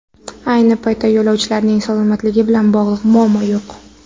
Ayni paytda yo‘lovchilarning salomatligi bilan bog‘liq muammo yo‘q.